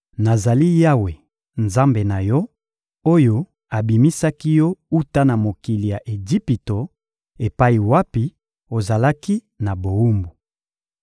«Nazali Yawe, Nzambe na yo, oyo abimisaki yo wuta na mokili ya Ejipito epai wapi ozalaki na bowumbu.